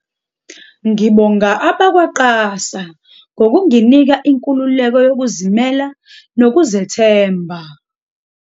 "Ngibonga abakwa-QASA ngokunginika inkululeko yokuzimela nokuzethemba."